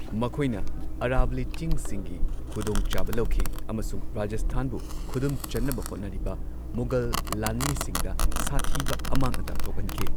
ꯃꯈꯣꯏꯅ ꯑꯔꯥꯕꯂꯤ ꯆꯤꯡꯁꯤꯡꯒꯤ ꯈꯨꯗꯣꯡ ꯆꯥꯕ ꯂꯧꯈꯤ ꯑꯃꯁꯨꯡ ꯔꯥꯖꯁꯊꯥꯟꯕꯨ ꯈꯨꯗꯨꯝ ꯆꯟꯅꯕ ꯍꯣꯠꯅꯔꯤꯕ ꯃꯨꯘꯜ ꯂꯥꯟꯃꯤꯁꯤꯡꯗ ꯁꯥꯊꯤꯕ ꯑꯃꯥꯡ ꯑꯇꯥ ꯊꯣꯛꯍꯟꯈꯤ꯫